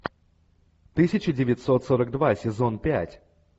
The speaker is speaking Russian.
тысяча девятьсот сорок два сезон пять